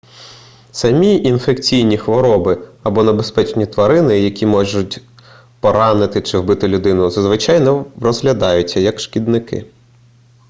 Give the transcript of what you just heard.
самі інфекційні хвороби або небезпечні тварини які можуть поранити чи вбити людину зазвичай не розглядаються як шкідники